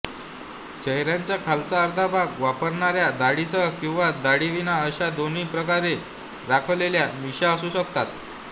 चेहऱ्याचा खालचा अर्धा भाग व्यापणाऱ्या दाढीसह किंवा दाढीविना अशा दोन्ही प्रकारे राखलेल्या मिश्या असू शकतात